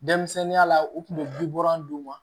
Denmisɛnninya la u tun bɛ bikɔrɔ d'u ma